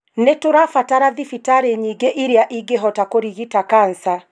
nĩ tũrabatara thibitarĩ nyingĩ iria ingĩhota kũrigita kansa.